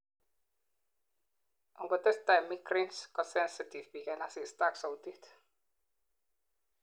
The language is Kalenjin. engotesetai migraines, kosensitive biik en asista ak sautit